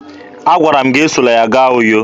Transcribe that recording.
Agwara m gị esola ya gaa Uyo!